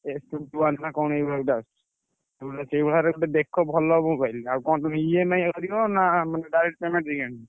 A fifty one ନା ଏମିତି କଣ ଏଇଭଳିଆ ଗୋଟେ ଆସୁଚି। ସେଇଭଳିଆର ଦେଖ ଗୋଟେ ଭଲ mobile ଆଉ କଣ ତମେ ଇଏ ନାଇ ଆଣିବ ନା direct payment ଦେଇ ଆଣିବ?